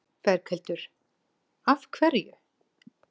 Berghildur: Af hverju?